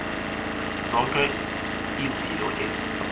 zonke izilo ezi